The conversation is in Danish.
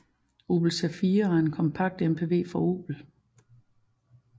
Opel Zafira er en kompakt MPV fra Opel